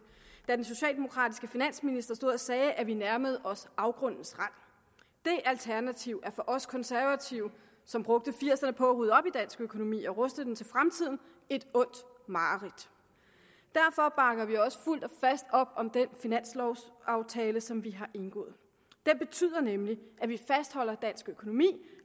den socialdemokratiske finansminister sagde at vi nærmede os afgrundens rand det alternativ er for os konservative som brugte nitten firserne på at rydde op i dansk økonomi og ruste den til fremtiden et ondt mareridt derfor bakker vi også fuldt og fast op om den finanslovaftale som vi har indgået det betyder nemlig at vi fastholder dansk økonomi